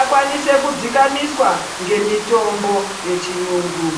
akwanise kudzikamiswa ngemitombo yechiyungu.